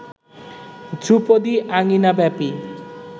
ধ্রুপদী আঙিনা ব্যাপী